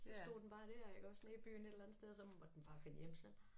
Så stod den bare dér iggås nede i byen et eller andet sted og så måtte den bare finde hjem selv